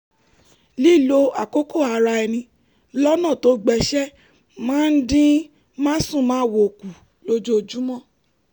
lílo àkókò ara ẹni lọ́nà tó gbéṣẹ́ máa ń dín másùnmáwo kù lójoojúmọ́